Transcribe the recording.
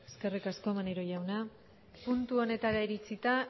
eskerrik asko maneiro jauna puntu honetara iritzita